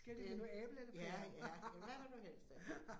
Det, ja, ja, men hvad vil du helst have?